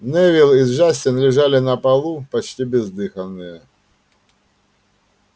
невилл и джастин лежали на полу почти бездыханные